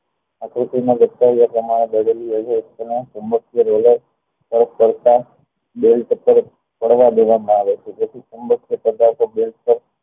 આકૃતિ ને લગતા તેમાં ચુંબકીય પડતા તરફ પાડવા દેવા માં આવે છે જેથી ચુંબકીય